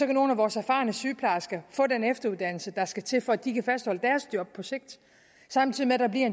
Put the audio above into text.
nogle af vores erfarne sygeplejersker få den efteruddannelse der skal til for at de kan fastholde deres job samtidig bliver